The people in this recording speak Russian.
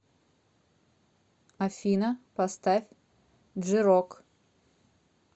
афина поставь джи рок